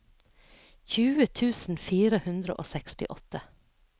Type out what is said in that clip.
tjue tusen fire hundre og sekstiåtte